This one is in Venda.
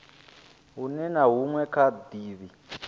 hunwe na hunwe kha davhi